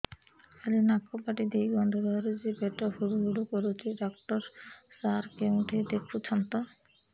ଖାଲି ନାକ ପାଟି ଦେଇ ଗଂଧ ବାହାରୁଛି ପେଟ ହୁଡ଼ୁ ହୁଡ଼ୁ କରୁଛି ଡକ୍ଟର ସାର କେଉଁଠି ଦେଖୁଛନ୍ତ